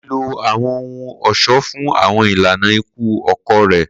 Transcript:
Ko ni lo awọn ohun-ọṣọ fun awọn ilana iku ọkọ rẹ.